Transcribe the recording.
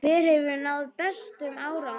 Hver hefur náð bestum árangri?